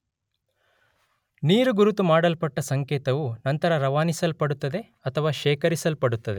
ನೀರುಗುರುತು ಮಾಡಲ್ಪಟ್ಟ ಸಂಕೇತವು ನಂತರ ರವಾನಿಸಲ್ಪಡುತ್ತದೆ ಅಥವಾ ಶೇಖರಿಸಿಡಲ್ಪಡುತ್ತದೆ